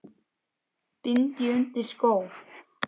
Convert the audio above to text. bind ég undir skó